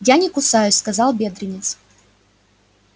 я не кусаюсь сказал бедренец